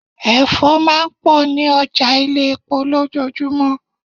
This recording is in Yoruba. Ẹ̀fọ́ máa ń pọ̀ ní ọjà ilé-epo lojoojumo.